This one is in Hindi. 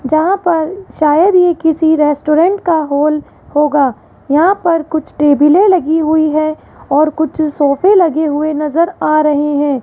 जहां पर शायद ये किसी रेस्टोरेंट का होल होगा यहां पर कुछ टेबिले लगी हुई है और कुछ सोफे लगे हुए नजर आ रहे हैं।